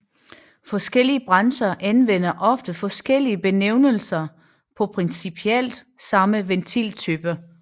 Forskellige brancher anvender ofte forskellige benævnelser på principielt samme ventiltyper